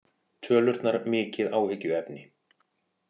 Tölurnar mikið áhyggjuefni